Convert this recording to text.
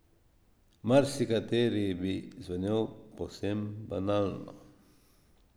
Marsikateri bi zvenel povsem banalno.